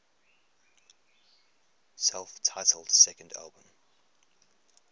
self titled second album